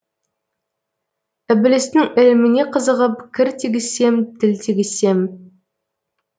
ібілістің іліміне қызығып кір тигізсем тіл тигізсем